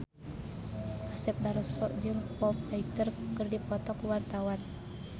Asep Darso jeung Foo Fighter keur dipoto ku wartawan